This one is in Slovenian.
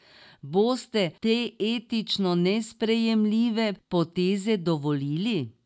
Boste te etično nesprejemljive poteze dovolili?